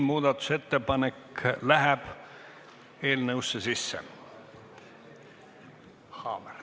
Muudatusettepanek läheb eelnõusse sisse.